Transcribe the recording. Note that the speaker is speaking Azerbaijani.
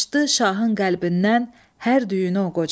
Açdı şahın qəlbindən hər düyünü o qoca.